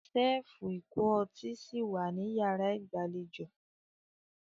Ṣẹ́ẹ́fù ìkó ọtí si wà ní yàrá ìgbàlejò.